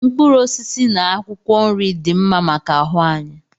Mkpụrụ osisi na akwụkwọ nri dị mma maka ahụ anyị